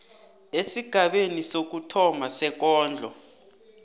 esigabeni sokuthoma sekondlo